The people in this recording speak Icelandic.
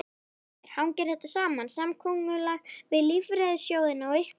Heimir: Hangir þetta saman, samkomulag við lífeyrissjóðina og ykkur?